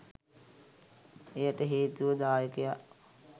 එයට හේතුව දායකයා